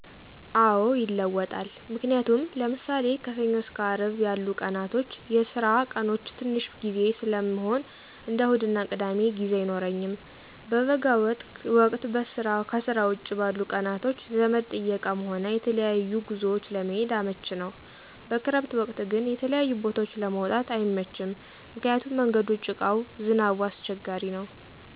አዎ ይለወጣል። ምክንያቱም ለምሳሌ ከሰኞ እስከ አርብ የሉ ቀናቶች የስራ ቀኖቸ ትንሽ ቢዚ ሰለምሆን እንደ እሁድና ቅዳሜ ጊዜ አይኖረኝም። በበጋ ወቅት ከስራ ውጭ ባሉ ቀናቶች ዘመድ ጥየቃም ሆነ የተለያዩ ጉዞዎች ለመሄድ አመችነው። በከረምት ወቅት ግን የተለያዩ ቦታዎች ለመውጣት አይመችም ምክንያቱም መንገዱ ጭቃው ዝናቡ አሰቸጋሪነው።